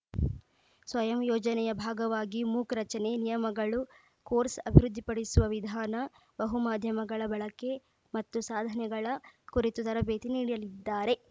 ಸ್ವಯಂ ಯೋಜನೆಯ ಭಾಗವಾಗಿ ಮೂಕ್‌ ರಚನೆ ನಿಯಮಗಳು ಕೋರ್ಸ್‌ ಅಭಿವೃದ್ಧಿಪಡಿಸುವ ವಿಧಾನ ಬಹುಮಾಧ್ಯಮಗಳ ಬಳಕೆ ಮತ್ತು ಸಾಧನೆಗಳ ಕುರಿತು ತರಬೇತಿ ನೀಡಲಿದ್ದಾರೆ